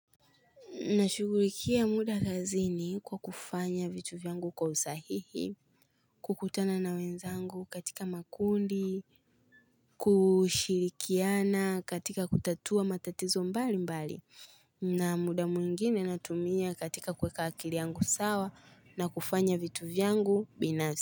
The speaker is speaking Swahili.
Nashughulikia muda kazini kwa kufanya vitu vyangu kwa usahihi, kukutana na wenzangu katika makundi, kushirikiana katika kutatua matatizo mbali mbali na muda mwingine natumia katika kuweka akili yangu sawa na kufanya vitu vyangu binafsi.